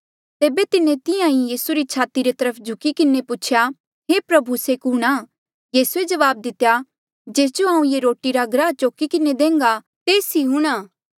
तेबे तिन्हें तिहां ईं यीसू री छाती री तरफ झुकी किन्हें पूछेया हे प्रभु से कुणहां यीसूए जवाब दितेया जेस जो हांऊँ ये रोटी रा टुकड़ा डूबाई किन्हें देन्घा तेस ई हूंणां